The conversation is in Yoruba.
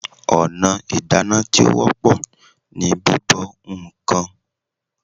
Ọ̀nà ìdáná tí ó wọ́pọ̀ ni bíbọ ǹkan